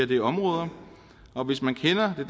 det område og hvis man kender det